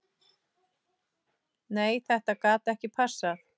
Nei þetta gat ekki passað.